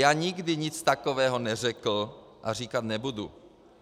Já nikdy nic takového neřekl a říkat nebudu.